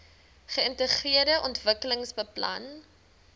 geintegreerde ontwikkelingsplan idp